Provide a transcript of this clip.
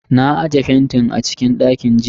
Na aje fentin a cikin dakin ajiya.